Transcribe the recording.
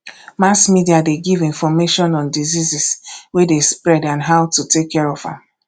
mass media de give information on diseases wey de spread and how to take care of am